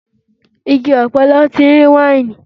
Igi ọ̀pẹ ni wọ́n ti ń rí wáìnì.